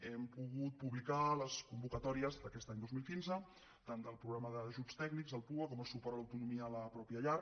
hem pogut publicar les convocatòries d’aquest any dos mil quinze tant del programa d’ajuts tècnics el pua com el suport a l’autonomia a la pròpia llar